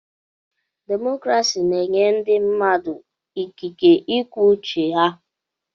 Demokrasi na-enye ndị mmadụ ikike ikwu uche ha.